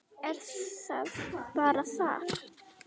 Er það bara þar?